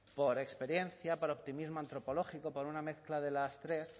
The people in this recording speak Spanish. por experiencia por optimismo antropológico por una mezcla de las tres